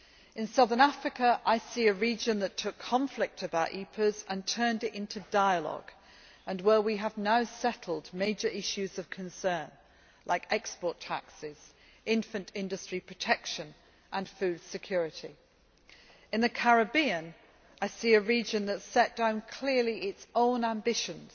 In southern Africa, I see a region that took conflict about EPAs and turned it into dialogue, and where we have now settled major issues of concern like export taxes, infant industry protection and food security. In the Caribbean, I see a region that has set down clearly its own ambitions